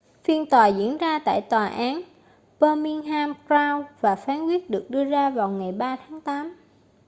phiên tòa diễn ra tại tòa án birmingham crown và phán quyết được đưa ra vào ngày 3 tháng tám